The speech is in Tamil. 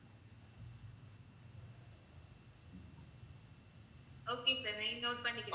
okay sir, name note பண்ணிக்க~